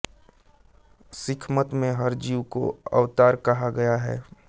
सिखमत में हर जीव को अवतार कहा गया है